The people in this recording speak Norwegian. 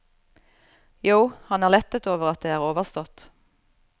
Jo, han er lettet over at det er overstått.